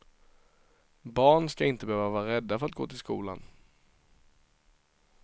Barn ska inte behöva vara rädda för att gå till skolan.